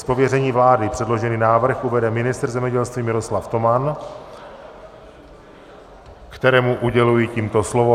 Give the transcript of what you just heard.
Z pověření vlády předložený návrh uvede ministr zemědělství Miroslav Toman, kterému uděluji tímto slovo.